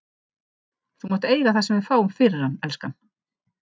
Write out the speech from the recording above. Þú mátt eiga það sem við fáum fyrir hann, elskan.